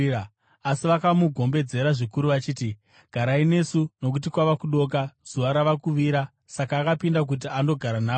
Asi vakamugombedzera zvikuru vachiti, “Garai nesu, nokuti kwava kudoka; zuva rava kuvira.” Saka akapinda kuti andogara navo.